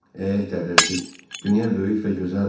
Eh, Dərrəcik, dünya böyük və gözəldir.